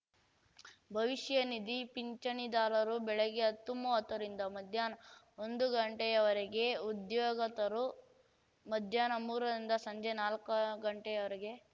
ಭವಿಷ್ಯ ನಿಧಿ ಪಿಂಚಣಿದಾರರು ಬೆಳಗ್ಗೆ ಹತ್ತುಮೂವತ್ತರಿಂದ ಮಧ್ಯಾಹ್ನ ಒಂದು ಗಂಟೆಯವರೆಗೆ ಉದ್ಯೋಗತರು ಮಧ್ಯಾಹ್ನ ಮೂರರಿಂದ ಸಂಜೆ ನಾಲ್ಕು ಗಂಟೆಯವರೆಗೆ